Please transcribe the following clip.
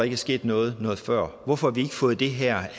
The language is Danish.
er sket noget noget før hvorfor har vi ikke fået det her